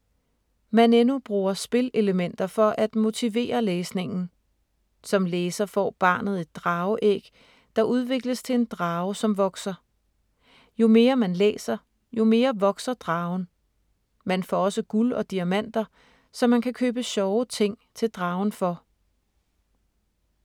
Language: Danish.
Maneno bruger spilelementer for at motivere læsningen. Som læser får barnet et drageæg, der udvikles til en drage, som vokser. Jo mere man læser, jo mere vokser dragen. Man får også guld og diamanter, som man kan købe sjove ting til dragen for.